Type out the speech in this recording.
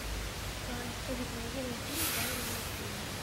поисковик найди мне фильм в жанре мультфильм